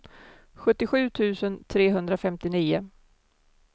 sjuttiosju tusen trehundrafemtionio